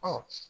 Ɔ